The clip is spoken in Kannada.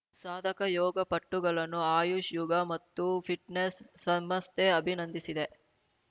ಸಾಧಕ ಯೋಗಪಟುಗಳನ್ನು ಆಯುಷ್‌ ಯೋಗ ಮತ್ತು ಫಿಟ್‌ನೆಸ್‌ ಸಮಸ್ಥೆ ಅಭಿನಂದಿಸಿದೆ